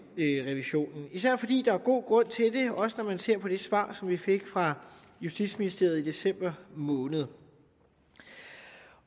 revisionen især fordi der er god grund til det også når man ser på det svar som vi fik fra justitsministeriet i december måned